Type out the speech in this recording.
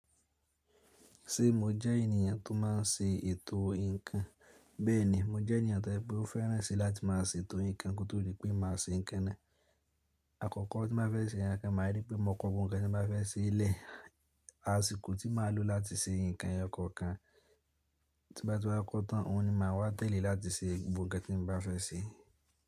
Ṣé mo jẹ́ ènìyàn tó má n ṣe ètò nǹkan? Bẹ́ẹ̀ni, mo jẹ́ ènìyàn to je pé ó fẹ́ran sí láti má a ṣe ètò nǹkan kí ó tó rí pé màá ṣe nǹkan náà. Àkọ́kọ́ tí màá fẹ́ ṣe nǹkan, màá rí pé mo kọ gbogbo nǹkan tí mo bá fẹ́ ṣe lẹ́ẹ̀. Àsìkò tí màá lò láti ṣe nǹkan eyo kankan, tí bá ti wáa kọ́ tán, òun ni màá wá tẹ́lẹ̀ láti ṣe gbogbo nǹkan tí mo bá fẹ́ ṣe.